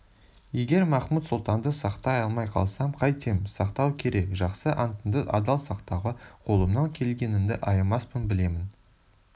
егер махмуд-сұлтанды сақтай алмай қалсам қайтем сақтау керек жақсы антыңды адал сақтауға қолымнан келгенімді аямаспын білемін